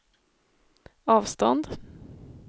avstånd